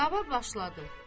Qulava başladı.